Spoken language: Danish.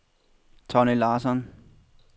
Tonni Larsson